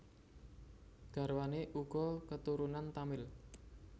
Garwané uga katurunan Tamil